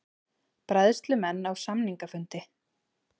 Bræðslumenn á samningafundi